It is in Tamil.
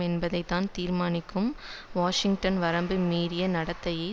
என்பதை தான் தீர்மானிக்கும் வாஷிங்டனின் வரம்பு மீறிய நடத்தையை